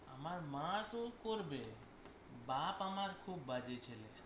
আমার মা তো করবে বাপ্ আমার খুব বাজে ছেলে